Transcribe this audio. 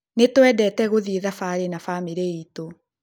Nĩtũendete gũthiĩ thabarĩ na bamĩrĩ itũ